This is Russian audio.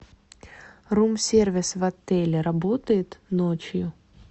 рум сервис в отеле работает ночью